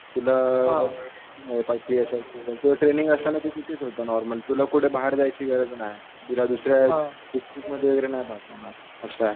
तुला तुझं ट्रैनिंग असताना तू तिथंच होता नॉर्मली तुला कुठं बाहेर जायची गरज नाय. तुला दुसऱ्या मध्ये नाय पाठवणार.